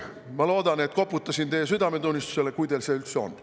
Ma loodan, et koputasin teie südametunnistusele, kui teil seda üldse on.